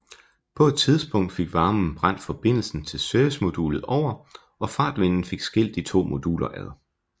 På et tidspunkt fik varmen brændt forbindelsen til servicemodulet over og fartvinden fik skilt de to moduler ad